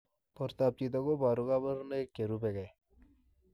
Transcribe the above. Portoop chitoo kobaruu kabarunaik cherubei ak